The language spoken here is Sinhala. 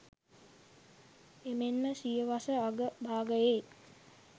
එමෙන්ම සියවස අග භාගයේ